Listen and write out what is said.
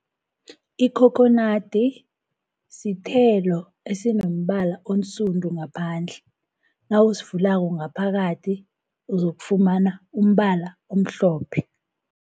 Ikhokhonadi sithelo esinombala onsundu ngaphandle, nawusivulako ngaphakathi, uzokufumana umbala omhlophe.